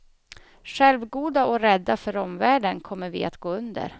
Självgoda och rädda för omvärlden kommer vi att gå under.